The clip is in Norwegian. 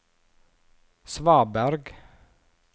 svaberg